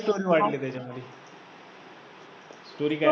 story वाढली त्याच्यामुळे story